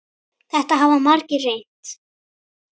Þetta hafa margir reynt.